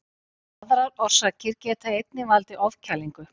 Aðrar orsakir geta einnig valdið ofkælingu.